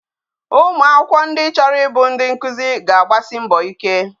Ụmụ akwụkwọ ndị chọrọ ịbụ ndị nkuzi ga agbasi mbọ ike